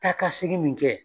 Taa ka segin min kɛ.